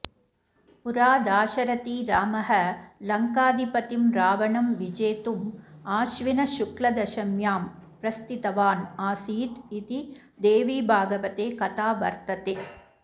पूरा दाशरथी रामो लङ्काधिपतिं रावणं विजेतुम् आश्विनशुक्लदशम्यां प्रस्थितवान् आसीदिति देवीभागवते कथा वर्तते